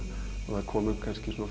það komu